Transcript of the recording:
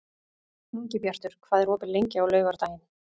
Ingibjartur, hvað er opið lengi á laugardaginn?